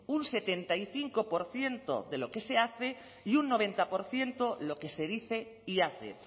un setenta y cinco por ciento de lo que se hace y un noventa por ciento lo que se dice y hace